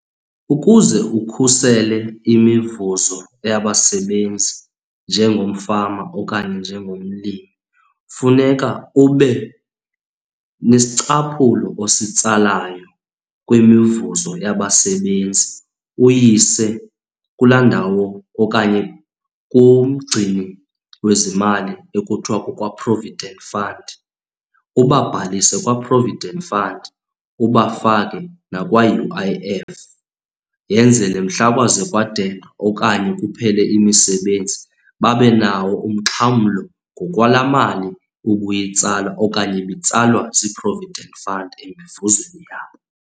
Ukuze ukhusele imivuzo yabasebenzi njengomfama okanye njengomlimi funeka ube nesicaphulo ositsalayo kwimivuzo yabasebenzi. Uyise kulaa ndawo okanye kumgcini wezimali ekuthiwa kukwa-provident fund, ubababhalise kwa-provident fund. Ubafake nakwa-U_I_F yenzele mhla kwaze kwadenga okanye kuphele imisebenzi, babenawo umxhamlo ngokwalaa mali ubuyitsala okanye ibitsalwa zii-provident fund emivuzweni yabo.